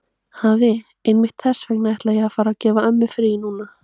Afi, einmitt þess vegna ætla ég að fara og gefa ömmu frí núna.